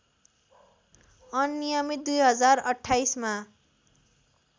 अनियमित २०२८ मा